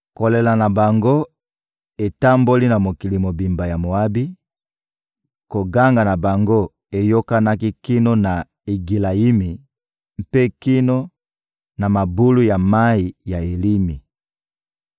Kolela na bango etamboli na mokili mobimba ya Moabi; koganga na bango eyokanaki kino na Egilayimi, mpe kino na mabulu ya mayi ya Elimi.